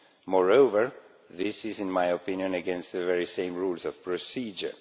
moreover, this is in my opinion against the very same rules of procedure.